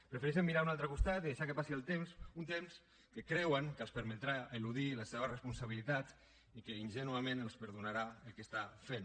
prefereixen mirar a un altre costat i deixar que passi el temps un temps que creuen que els permetrà eludir les seves responsabilitats i que ingènuament els perdonarà el que estan fent